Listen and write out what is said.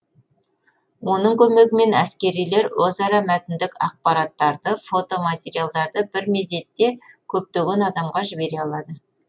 оның көмегімен әскерилер өзара мәтіндік ақпараттарды фото материалдарды бір мезетте көптеген адамға жібере алады